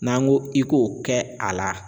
N'an ko i k'o kɛ a la